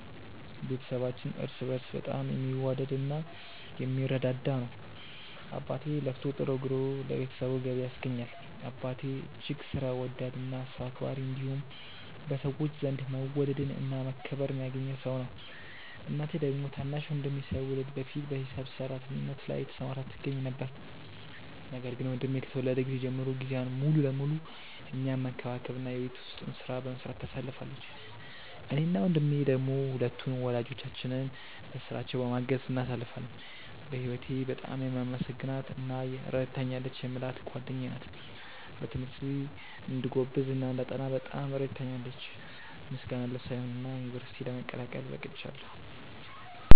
ቤተሰባችን እርስ በእርስ በጣም የሚዋደድ እና የሚረዳዳ ነው። አባቴ ለፍቶ ጥሮ ግሮ ለቤተሰቡ ገቢ ያስገኛል። አባቴ እጅግ ሥራ ወዳድ እና ሰው አክባሪ እንዲሁም በሰዎች ዘንድ መወደድን እና መከበርን ያገኘ ሰው ነው። እናቴ ደግሞ ታናሽ ወንድሜ ሳይወለድ በፊት በሂሳብ ሰራተኝነት ላይ ተሰማርታ ትገኛ ነበር፤ ነገር ግን ወንድሜ ከተወለደ ጊዜ ጀምሮ ጊዜዋን ሙሉ ለሙሉ እኛን መንከባከብ እና የቤት ውስጡን ሥራ በመስራት ታሳልፋለች። እኔ እና ወንድሜ ደሞ ሁለቱን ወላጆቻችንን በሥራቸው በማገዝ እናሳልፋለን። በህወቴ በጣም የማመሰግናት እና ረድታኛለች የምላት ጓደኛዬ ናት። በትምህርቴ እንድጎብዝ እና እንዳጠና በጣም ትረዳኛለች። ምስጋና ለሷ ይሁንና ዩንቨርስቲ ለመቀላቀል በቅቻለው።